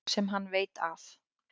Sem hann veit af.